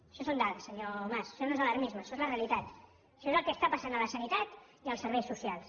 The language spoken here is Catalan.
això són dades senyor mas això no és alarmisme això és la realitat això és el que està passant a la sanitat i als serveis socials